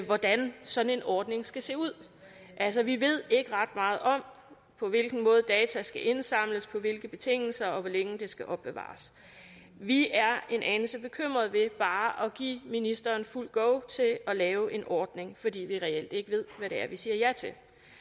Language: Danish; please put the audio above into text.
hvordan sådan en ordning skal se ud altså vi ved ikke ret meget om på hvilken måde data skal indsamles på hvilke betingelser og hvor længe de skal opbevares vi er en anelse bekymret ved bare at give ministeren fuldt go til at lave en ordning fordi vi reelt ikke ved hvad det er vi siger ja til